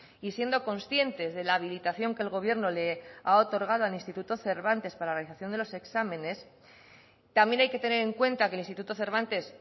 y siendo conscientes de la habilitación que el gobierno le ha otorgado al instituto cervantes para la realización de los exámenes también hay que tener en cuenta que el instituto cervantes